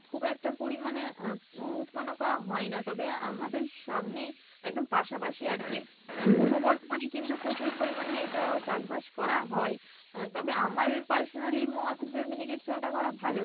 খুব একটা পরিমানে আহ উৎপন্য করা হয়না তবে আমাদের সামনেই একদম পাশাপশি আর কী বর্ধমানে কিন্তু প্রচুর পরিমানে এইটা চাষ বাস করা হয় আহ তবে আমার personally মত যে miniket চাল টা করা ভালো